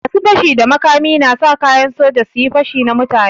Masu fashi da makami na sa kayan soja su yi pashi na mutane.